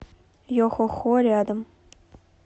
йохохо рядом